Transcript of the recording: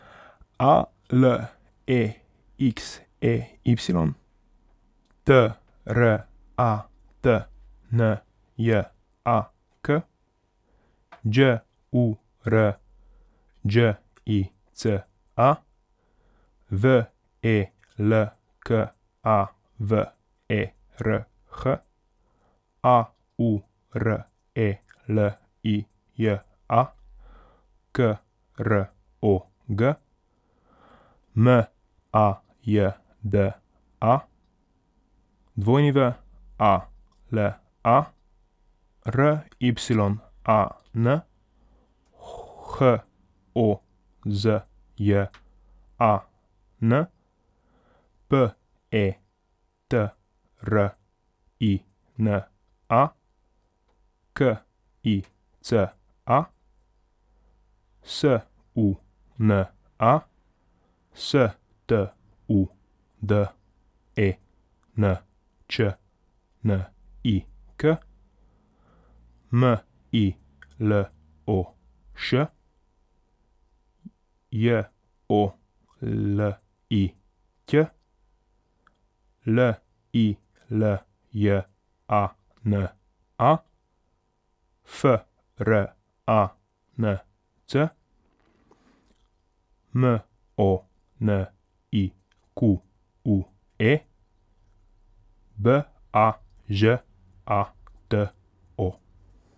A L E X E Y, T R A T N J A K; Đ U R Đ I C A, V E L K A V E R H; A U R E L I J A, K R O G; M A J D A, W A L A; R Y A N, H O Z J A N; P E T R I N A, K I C A; S U N A, S T U D E N Č N I K; M I L O Š, J O L I Ć; L I L J A N A, F R A N C; M O N I Q U E, B A Ž A T O.